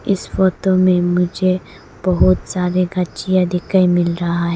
इस फोटो में मुझे बहोत सारे घचिया दिखाई मिल रहा है।